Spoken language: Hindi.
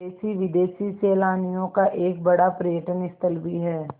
देशी विदेशी सैलानियों का एक बड़ा पर्यटन स्थल भी है